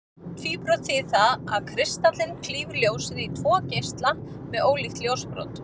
Tvíbrot þýðir það að kristallinn klýfur ljósið í tvo geisla með ólíkt ljósbrot.